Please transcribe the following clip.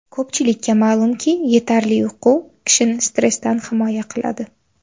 Ko‘pchilikka ma’lumki, yetarli uyqu kishini stressdan himoya qiladi.